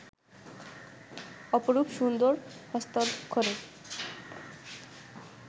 অপরূপ সুন্দর হস্তাক্ষরে